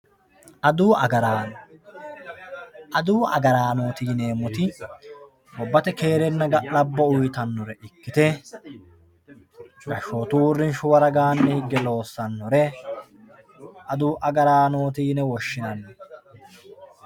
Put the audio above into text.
Adawu agarano, adawu agaraanoti yineemoti gobbate keere galabo uyitanore ikkite gaashottu uurinshuwa widooni higge loosanore adawu agaranoti yine woshinanni